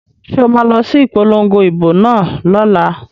So ma lọ sí ìpolongo ìbò náà lọ́la?